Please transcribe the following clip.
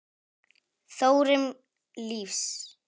Þróun lífsins